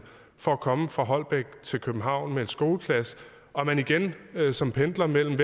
for at komme fra holbæk til københavn med en skoleklasse og at man igen som pendler mellem